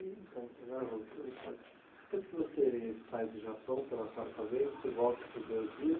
Então, agora voltando, Ricardo, depois que você sai do Japão pela quarta vez, você volta para o Brasil.